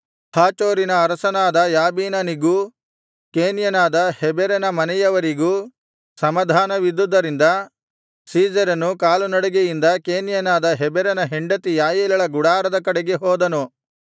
ಹಾಚೋರಿನ ಅರಸನಾದ ಯಾಬೀನನಿಗೂ ಕೇನ್ಯನಾದ ಹೆಬೆರನ ಮನೆಯವರಿಗೂ ಸಮಾಧಾನವಿದ್ದುದರಿಂದ ಸೀಸೆರನು ಕಾಲುನಡಿಗೆಯಿಂದ ಕೇನ್ಯನಾದ ಹೆಬೆರನ ಹೆಂಡತಿ ಯಾಯೇಲಳ ಗುಡಾರದ ಕಡೆಗೆ ಹೋದನು